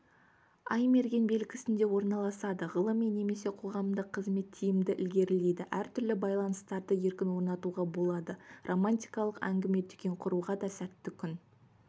ай мерген белгісінде орналасады ғылыми немесе қоғамдық қызмет тиімді ілгерілейді әртүрлі байланыстарды еркін орнатуға болады романтикалық әңгіме-дүкен құруға дасәтті күн